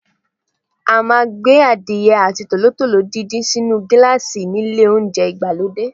A máa ń gbé Adìyẹ àti tòlótòló díndín sínu gíláàsì nílé oúnjẹ ìgbàlódé.